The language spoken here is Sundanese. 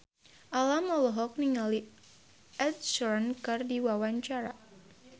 Alam olohok ningali Ed Sheeran keur diwawancara